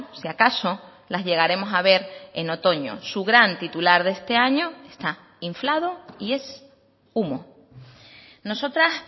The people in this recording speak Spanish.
si acaso las llegaremos a ver en otoño su gran titular de este año está inflado y es humo nosotras